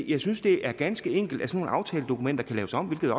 jeg synes det er ganske enkelt at nogle aftaledokumenter kan laves om hvilket